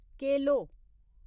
केलो